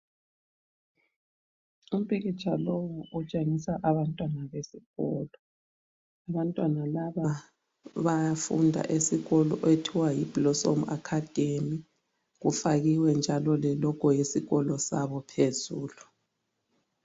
Umpikitsha lowu utshengisa abantwana besikolo. Abantwana laba bayafunda esikolo okuthiwa yi Blossom Academy. Kufakiwe njalo lelogo yesikolo sabo phezulu.